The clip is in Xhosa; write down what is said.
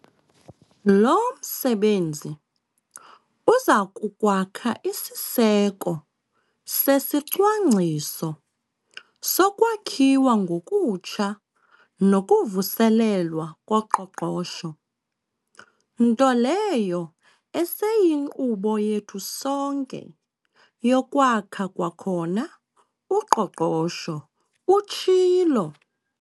"Lo msebenzi uza kukwakha isiseko sesiCwangciso soKwakhiwa ngokuTsha nokuVuselelwa koQoqosho, nto leyo eseyinkqubo yethu sonke yokwakha kwakhona uqoqosho," utshilo.